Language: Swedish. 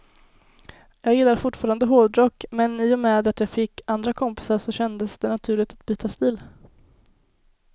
Jag gillar fortfarande hårdrock, men i och med att jag fick andra kompisar så kändes det naturligt att byta stil.